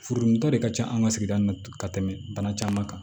Furudimitɔ de ka ca an ka sigida ninnu na ka tɛmɛ bana caman kan